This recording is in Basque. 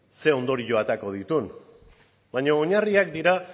ze ondorio aterako dituen baina oinarriak dira